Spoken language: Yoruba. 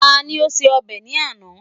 Tá ni ó ṣe ọbẹ̀ ní àná?